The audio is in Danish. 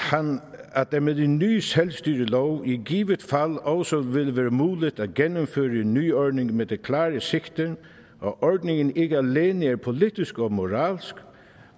at det med den nye selvstyrelov i givet fald også ville være muligt at gennemføre en ny ordning med det klare sigte at ordningen ikke alene er politisk og moralsk